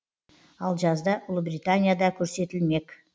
ал жазда ұлыбританияда көрсетілмек